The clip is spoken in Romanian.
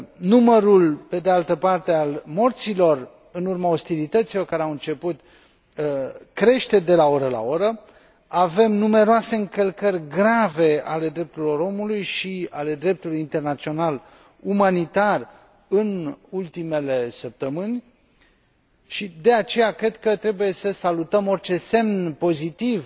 Numărul, pe de altă parte, al morților, în urma ostilităților care au început, crește de la oră la oră. Avem numeroase încălcări grave ale drepturilor omului și ale dreptului internațional umanitar în ultimele săptămâni și, de aceea, cred că trebuie să salutăm orice semn pozitiv